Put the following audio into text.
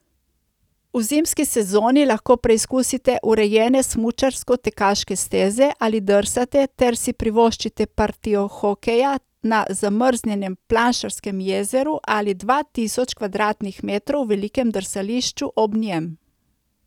V zimski sezoni lahko preizkusite urejene smučarsko tekaške steze ali drsate ter si privoščite partijo hokeja na zamrznjenem Planšarskem jezeru ali dva tisoč kvadratnih metrov velikem drsališču ob njem.